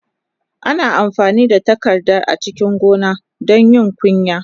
Ana amfani da tarakta a cikin gona don yin kunya.